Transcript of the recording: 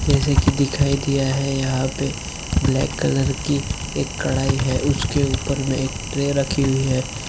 जेसे की दिखाई दिया है यहा पे ब्लैक कलर की एक लड़ाई है उस के उपर मे एक ट्रे रखी हुई हैं।